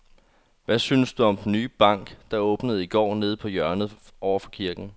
Hvad synes du om den nye bank, der åbnede i går dernede på hjørnet over for kirken?